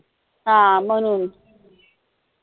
हा म्हणून